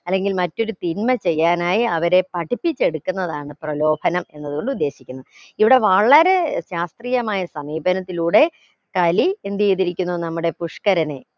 അല്ലെങ്കിൽ മറ്റൊരു തിന്മ ചെയ്യാനായി അവരെ പഠിപ്പിച്ചെടുക്കുന്നതാണ് പ്രലോഭനം എന്നത് കൊണ്ട് ഉദ്ദേശിക്കുന്നത് ഇവിടെ വളരെ ശാസ്ത്രീയമായ സമീപനത്തിലൂടെ കലി എന്തെയിതിരിക്കുന്നു നമ്മുടെ പുഷ്ക്കരനെ